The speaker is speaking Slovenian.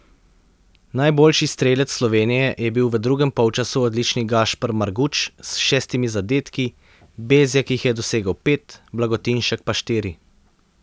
Najboljši strelec Slovenije je bil v drugem polčasu odlični Gašper Marguč s šestimi zadetki, Bezjak jih je dosegel pet, Blagotinšek pa štiri.